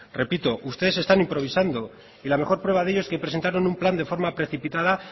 repito ustedes están improvisando y la mejor prueba de ello es que presentaron un plan de forma precipitada